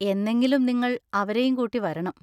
എന്നെങ്കിലും നിങ്ങൾ അവരെയും കൂട്ടി വരണം.